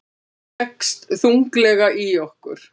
Leggst þunglega í okkur